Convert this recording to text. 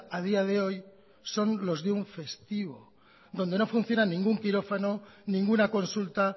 a día de hoy son los de un festivo donde no funciona ningún quirófano ninguna consulta